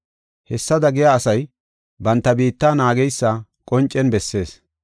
Hessada giya asay banta biitta naageysa qoncen bessees.